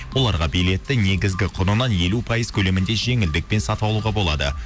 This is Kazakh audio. оларға билетті негізгі құнынан елу пайыз көлемінде жеңілдікпен сатып алуға болады